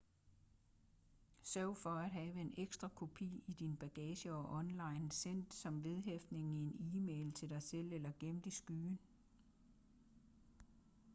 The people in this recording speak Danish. sørg for at have en ekstra kopi i din bagage og online sendt som vedhæftning i en e-mail til dig selv eller gemt i skyen"